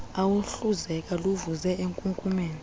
oluhluzeka luvuze enkunkumeni